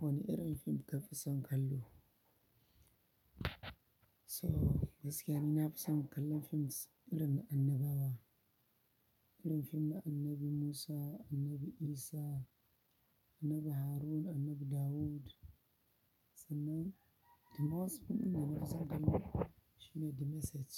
Wane irin fim ka fi son kallo? To gaskiya ni na fi son kallon fim irin na annabawa. Irin fim na Annabi Musa, Annabi Isa, Annabi Harun, Annabi Dawud. Sannan, the most fim ɗin da na fi son kallo shi ne The Message.